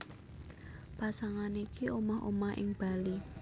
Pasangan iki omah omah ing Bali